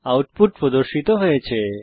output প্রদর্শিত হয়েছে